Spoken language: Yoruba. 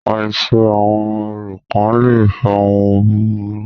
Àìṣe àwọn orò kán le fa ohun búburú.